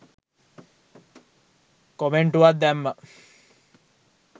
කොමෙන්ටුවක් දැම්මා.